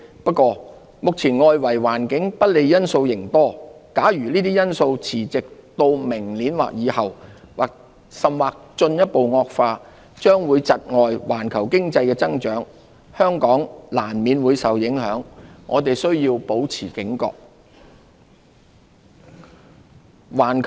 不過，目前外圍環境不利因素仍多，假如這些因素持續至明年或以後，甚或進一步惡化，將會窒礙環球經濟的增長，香港難免會受影響，我們須保持警覺。